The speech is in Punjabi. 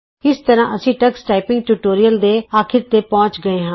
ਇਸ ਤਰ੍ਹਾਂ ਅਸੀਂ ਟਕਸ ਟਾਈਪਿੰਗ ਟਿਯੂਟੋਰੀਅਲ ਦੇ ਅਖੀਰ ਤੇ ਪਹੁੰਚ ਗਏੇ ਹਾਂ